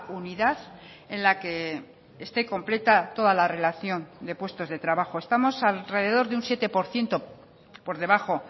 unidad en la que esté completa toda la relación de puestos de trabajo estamos alrededor de un siete por ciento por debajo